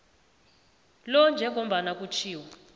lo njengombana kutjhiwo